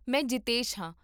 ਮੈਂ ਜਿਤੇਸ਼ ਹਾਂ